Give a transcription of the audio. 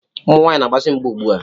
Ụmụ nwaanyị na-agbazi mgba ugbua.